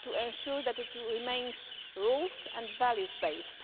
to ensure that it remains rule and value based.